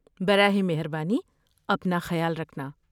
براہ مہربانی اپنا خیال رکھنا۔